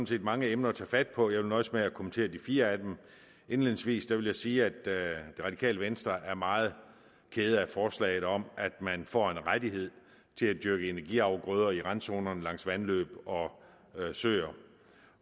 set mange emner at tage fat på vil nøjes med at kommentere de fire af dem indledningsvis vil jeg sige at det radikale venstre er meget ked af forslaget om at man får en rettighed til at dyrke energiafgrøder i randzonerne langs vandløb og søer